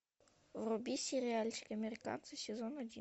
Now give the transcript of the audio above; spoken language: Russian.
вруби сериальчик американцы сезон один